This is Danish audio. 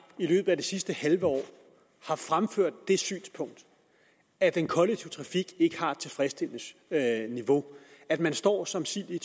i løbet af det sidste halve år har fremført det synspunkt at den kollektive trafik ikke har et tilfredsstillende niveau at man står som sild i